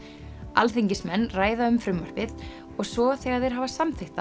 alþingismenn ræða um frumvarpið og svo þegar þeir hafa samþykkt